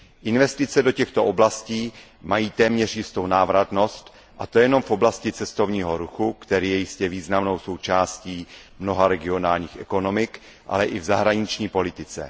Investice do těchto oblastí mají téměř jistou návratnost, a to nejenom v oblasti cestovního ruchu, který je jistě významnou součástí mnoha regionálních ekonomik, ale i v zahraniční politice.